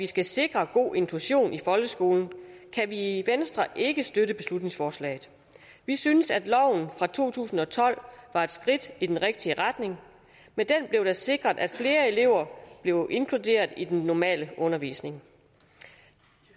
skal sikre god inklusion i folkeskolen kan vi i venstre ikke støtte beslutningsforslaget vi synes at loven fra to tusind og tolv var et skridt i den rigtige retning med den blev det sikret at flere elever bliver inkluderet i den normale undervisning